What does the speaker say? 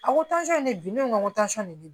A ko tansɔn ne bɛ bi ne ko tansɔn de bɛ ne